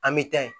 An bɛ taa yen